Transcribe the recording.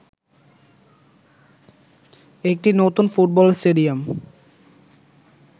একটি নতুন football stadium